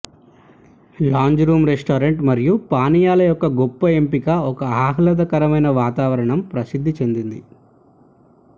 lounge room restaurant మరియు పానీయాలు యొక్క గొప్ప ఎంపిక ఒక ఆహ్లాదకరమైన వాతావరణం ప్రసిద్ధి చెందింది